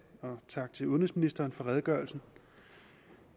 og tak til udenrigsministeren for redegørelsen